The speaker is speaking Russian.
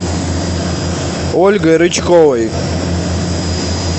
ольгой рычковой